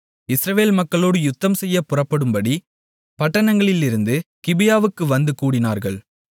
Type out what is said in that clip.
இஸ்ரவேல் மக்களோடு யுத்தம்செய்யப் புறப்படும்படி பட்டணங்களிலிருந்து கிபியாவுக்கு வந்து கூடினார்கள்